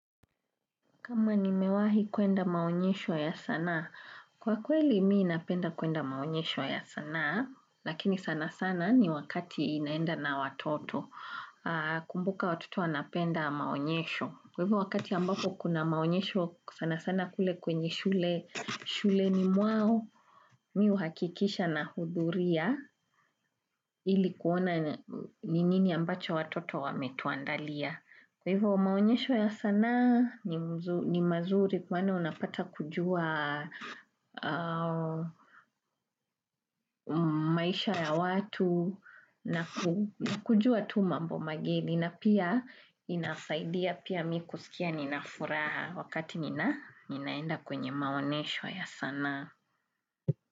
Kama nimewahi kwenda maonyesho ya sanaa, kwa kweli mimi napenda kwenda maonyesho ya sanaa, lakini sana sana ni wakati naenda na watoto kumbuka watoto wanapenda maonyesho. Kwa hivyo wakati ambako kuna maonyesho sana sana kule kwenye shule, shuleni mwao, mimi huhakikisha nahudhuria ili kuona ni nini ambacho watoto wametuandalia. Kwa hivyo maonyesho ya sanaa ni mazuri kwani unapata kujua maisha ya watu na kujua tu mambo mageni na pia inasaidia pia mimi kusikia nina furaha wakati ninaenda kwenye maonyesho ya sanaa.